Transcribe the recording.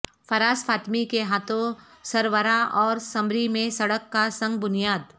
فراز فاطمی کے ہاتھوں سروارہ اور سمری میں سڑک کا سنگ بنیاد